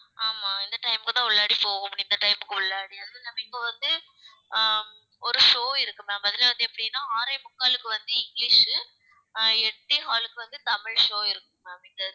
ஆமா இந்த time க்கு தான் உள்ளாடி போகமுடியும் இந்த time க்கு உள்ளாடிய நாம இப்ப வந்து அஹ் ஒரு show இருக்கு ma'am அதுல வந்து எப்படின்னா ஆறே முக்காலுக்கு வந்து இங்கிலிஷு அஹ் எட்டே காலுக்கு வந்து தமிழ் show இருக்கு ma'am இங்க